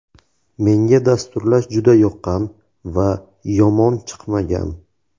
Menga dasturlash juda yoqqan va yomon chiqmagan.